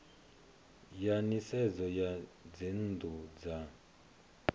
ya nisedzo ya dzinnu dza